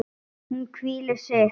Hún hvílir sig.